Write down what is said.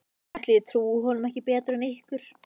Ætli ég trúi honum ekki betur en ykkur.